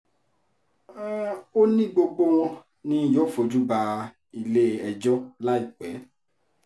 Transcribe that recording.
ó ní gbogbo wọn ni yóò fojú ba ilé-ẹjọ́ láìpẹ́